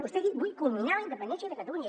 vostè ha dit vull culminar la independència de catalunya